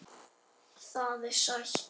Það er sætt.